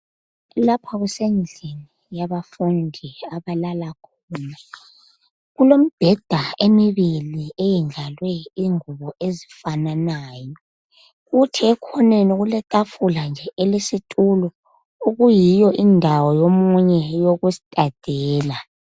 Lapha kusendlini yabafundi abalala khona kulemibheda emibili eyendlalwe ingubo ezifananayo, kuthi ekhoneni letafula nje elesitulo okuyiyo indawo yomunye yokustadela.